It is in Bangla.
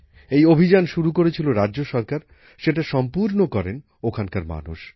এই অভিযান শুরু করেছিল রাজ্য সরকার সেটা সম্পূর্ণ করেন ওখানকার মানুষ